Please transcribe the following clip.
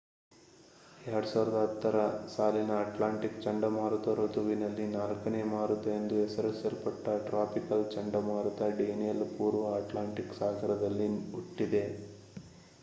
2010ರ ಸಾಲಿನ ಅಟ್ಲಾಂಟಿಕ್ ಚಂಡಮಾರುತ ಋತುವಿನಲ್ಲಿ ನಾಲ್ಕನೇ ಮಾರುತ ಎಂದು ಹೆಸರಿಸಲ್ಪಟ್ಟ ಟ್ರಾಪಿಕಲ್ ಚಂಡಮಾರುತ ಡೇನಿಯಲ್ ಪೂರ್ವ ಅಟ್ಲಾಂಟಿಕ್ ಸಾಗರದಲ್ಲಿ ಹುಟ್ಟಿದೆ